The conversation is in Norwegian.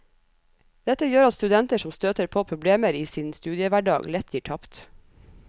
Dette gjør at studenter som støter på problemer i sin studiehverdag, lett gir tapt.